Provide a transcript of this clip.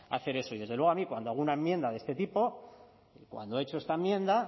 hacer eso y desde luego a mí cuando hago una enmienda de este tipo cuando he hecho esta enmienda